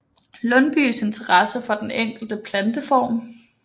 Lundbyes interesse for den enkelte planteform